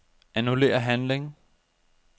Annullér handling.